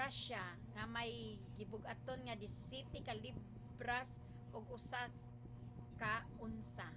russia nga may gibug-aton nga 17 ka libras ug 1 ka onsa